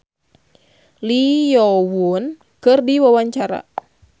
Eva Arnaz olohok ningali Lee Yo Won keur diwawancara